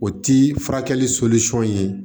O ti furakɛli ye